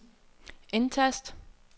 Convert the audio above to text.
indtast